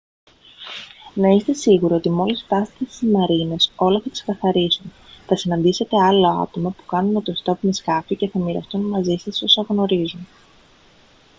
να είστε σίγουροι ότι μόλις φτάσετε στις μαρίνες όλα θα ξεκαθαρίσουν θα συναντήσετε άλλα άτομα που κάνουν ωτοστόπ με σκάφη και θα μοιραστούν μαζί σας όσα γνωρίζουν